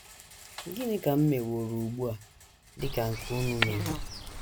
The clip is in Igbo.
“ Gịnị ka m meworo ugbu a dị ka nke unu mere? ”